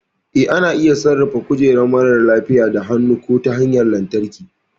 Eh, ana iya sarrafa kujerar marar lafiya da hannu ko ta hanyar lantarki.